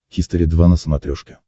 хистори два на смотрешке